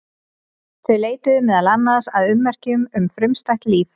Þau leituðu meðal annars að ummerkjum um frumstætt líf.